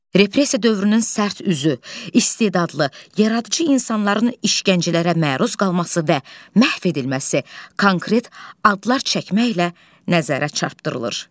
Repressiya dövrünün sərt üzü, istedadlı, yaradıcı insanların işgəncələrə məruz qalması və məhv edilməsi konkret adlar çəkməklə nəzərə çarpdırılır.